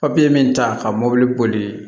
Papiye min ta ka mɔbili boli